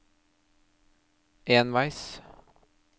enveis